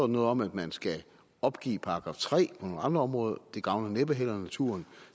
noget om at man skal opgive § tre og nogle andre områder det gavner næppe heller naturen